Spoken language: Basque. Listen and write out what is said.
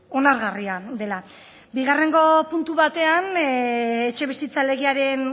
onargarria dela bigarrengo puntu batean etxebizitza legearen